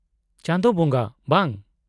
-ᱪᱟᱸᱫᱳ ᱵᱚᱸᱜᱟ, ᱵᱟᱝ !